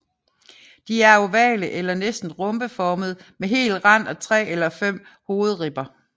De er ovale eller næsten rhombeformede med hel rand og tre eller fem hovedribber